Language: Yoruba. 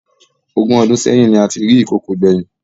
Ogún ọdún sẹyìn ni a ti rí ìkokò gbẹ̀yìn